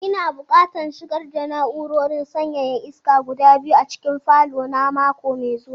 Ina buƙatan shigar da na'urorin sanyaya iska guda biyu a cikin falo na mako mai zuwa.